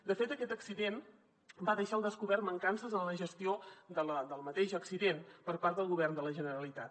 de fet aquest accident va deixar al descobert mancances en la gestió del mateix accident per part del govern de la generalitat